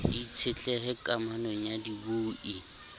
di itshetlehe kamanong ya dibui